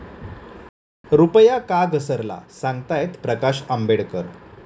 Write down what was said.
रुपया का घसरला? सांगतायत प्रकाश आंबेडकर